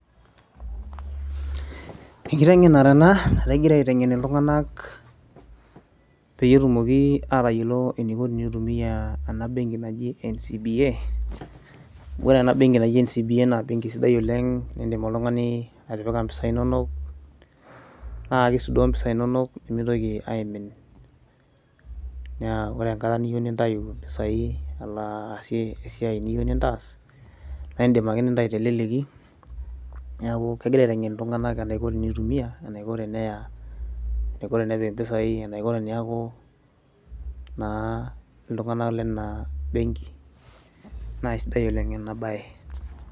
enkiteng'enare ena nagirai aiteng'en iltung'anak peyie etumoki aatayiolo eniko peyie itumiaa ena bank naji NCBA, ore ena benki naji NCBA naa embenki sadi oleng' niidim oltung'ani atipika impisai inonok naa kisudoo impisaai inonok pee mitoki aimin neeku ore enkata niyieu nintayu impisai alo aasie esiai niyieu nintaas naa aidim ake nintayu teleleki neeku kegirai aiteng'en iltung'anak enaiko tenitumia enaiko tenepik impisaai enaiko teneeku naa iltung'anak lena benki naa sidai oleng' ena baye.